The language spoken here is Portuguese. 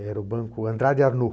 Era o banco Andrade Arnaud.